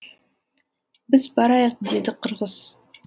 біз барайық деді қырғыз